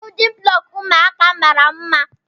Biyudin bụlọku ụmụaka mara mma.